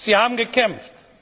Sie haben gekämpft!